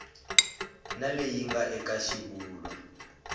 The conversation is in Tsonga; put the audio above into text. na leyi nga eka xivulwa